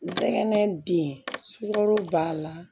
Nsɛgɛn denkɔrɔ b'a la